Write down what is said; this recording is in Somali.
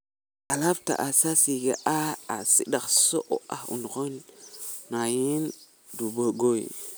Alaabta aasaasiga ah waxay si dhakhso ah u noqonayaan duugoobay.